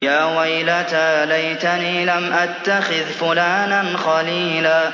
يَا وَيْلَتَىٰ لَيْتَنِي لَمْ أَتَّخِذْ فُلَانًا خَلِيلًا